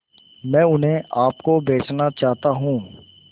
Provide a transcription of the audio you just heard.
मैं उन्हें आप को बेचना चाहता हूं